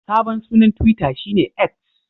Sabon sunan Twita shi ne X.